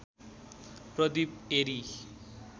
Pradeep Airi